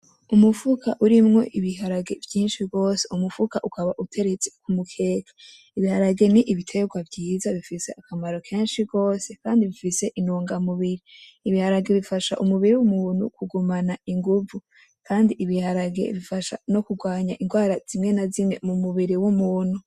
Umufuka urimwo ibiharage vyinshi gose. Umufuka ukaba uteretse ku mukenke. Ibiharage ni ibiterwa vyiza gose kandi bifise intungamubiri. Ibiharage bifasha umubiri w'umuntu kugumana inguvu. Kandi ibiharage bifasha no kurwanya indwara zimwe na zimwe mu mubiri w'umuntu.